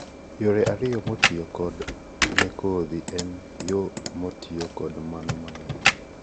yore ariyo motiyo kodo ne kodhi en yo motio kod mano mang'ich